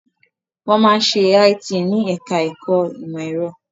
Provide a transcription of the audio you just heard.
Wọ́n máa ń ṣe IT ní ẹ̀ká ẹ̀kọ́ ìmọ̀ ẹ̀rọ